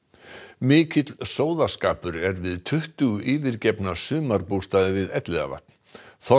mikill sóðaskapur er við tuttugu yfirgefna sumarbústaði við Elliðavatn